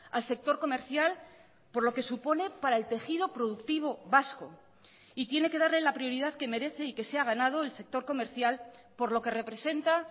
al sector comercial por lo que supone para el tejido productivo vasco y tiene que darle la prioridad que merece y que se ha ganado el sector comercial por lo que representa